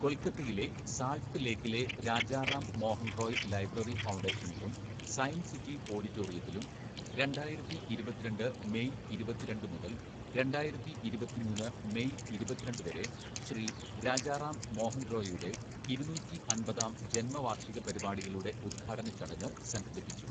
കൊൽക്കത്തയിലെ സാൾട്ട് ലേക്കിലെ രാജാ റാം മോഹൻ റോയ് ലൈബ്രറി ഫൗണ്ടേഷനിലും സയൻസ് സിറ്റി ഓഡിറ്റോറിയത്തിലും രണ്ടായിരത്തി ഇരുപത്തിരണ്ട് മേയ് ഇരുപത്തിരണ്ട് മുതല്‍ രണ്ടായിരത്തി ഇരുപത്തിമൂന്ന് മേയ് ഇരുപത്തിരണ്ട് വരെ ശ്രീ രാജാ റാം മോഹന്‍ റോയിയുടെ ഇരുന്നൂറ്റിയമ്പതാം ജന്മവാർഷിക പരിപാടികളുടെ ഉദ്ഘാടന ചടങ്ങ് സംഘടിപ്പിച്ചു.